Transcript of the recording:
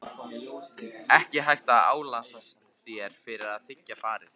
Ekki hægt að álasa þér fyrir að þiggja farið.